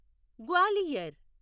Gwalior